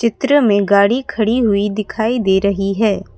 चित्र में गाड़ी खड़ी हुई दिखाई दे रही है।